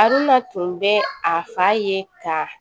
A dunna tun bɛ a fa ye ka